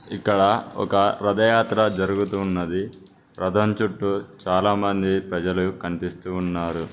ఇక్కడ ఒక రథయాత్ర జరుగుతున్నది రథం చుట్టూ చాలామంది ప్రజలు కనిపిస్తున్నారు.